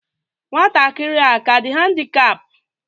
Nwatakịrị a aka dị handikap?